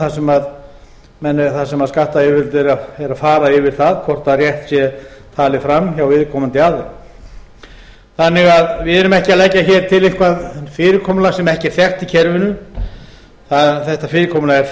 í öðrum aðferðum þar sem skattayfirvöld eru að fara yfir það hvort rétt sé talið fram hjá viðkomandi aðila þannig að við erum ekki að leggja hér til eitthvað fyrirkomulag sem ekki er þekkt í kerfinu þetta fyrirkomulag er